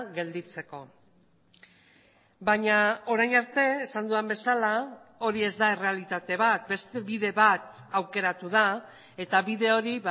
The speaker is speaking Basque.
gelditzeko baina orain arte esan dudan bezala hori ez da errealitate bat beste bide bat aukeratu da eta bide hori